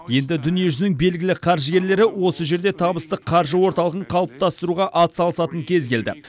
енді дүниежүзінің белгілі қаржыгерлері осы жерде табысты қаржы орталығын қалыптастыруға атсалысатын кез келді